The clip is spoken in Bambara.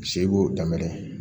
Se b'o danbɛ